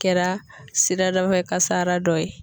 Kɛra siradafɛkasara dɔ ye.